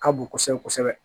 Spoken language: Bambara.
Ka bon kosɛbɛ kosɛbɛ